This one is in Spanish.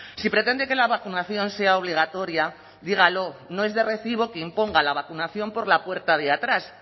si pretende que la vacunación sea obligatoria dígalo no es de recibo que imponga la vacunación por la puerta de atrás